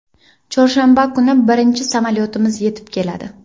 Chorshanba kuni birinchi samolyotimiz yetib keladi.